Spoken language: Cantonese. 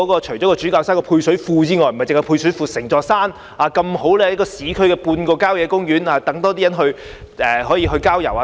除了主教山的配水庫外——那兒不單有配水庫——整座山剛好位於市區，像半個郊野公園，讓更多人可以去郊遊等。